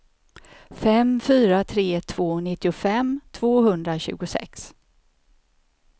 fem fyra tre två nittiofem tvåhundratjugosex